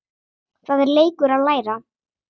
Það er leikur að læra